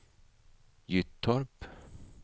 Gyttorp